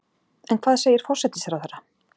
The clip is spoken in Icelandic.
En hvað segir forsætisráðherra?